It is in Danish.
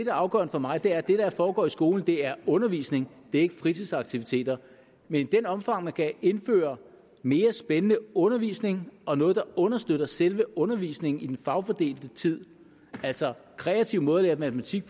er afgørende for mig er at det der foregår i skolen er undervisning det er ikke fritidsaktiviteter men i det omfang man kan indføre mere spændende undervisning og noget der understøtter selve undervisningen i den fagfordelte tid altså kreative måder at lære matematik